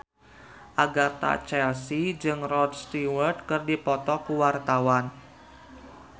Agatha Chelsea jeung Rod Stewart keur dipoto ku wartawan